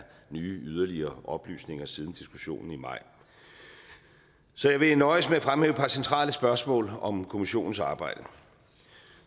nye yderligere oplysninger siden diskussionen i maj så jeg vil nøjes med at fremhæve et par centrale spørgsmål om kommissionens arbejde